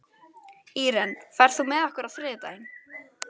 Íren, ferð þú með okkur á þriðjudaginn?